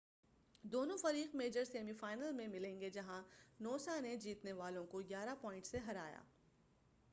دونوں فریق major semi final میں ملیں گے جہاں نوسا نے جیتنے والوں کو 11 پوائنٹس سے ہرایا